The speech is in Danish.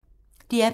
DR P3